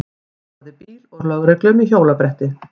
Barði bíl og lögreglu með hjólabretti